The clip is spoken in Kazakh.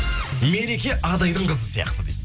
мереке адайдың қызы сияқты дейді